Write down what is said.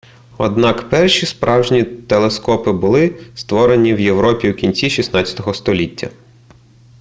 однак перші справжні телескопи були створені в європі у кінці 16-го століття